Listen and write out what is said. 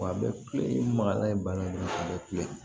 Wa a bɛ kule magalan ye bana in de ye a bɛ kule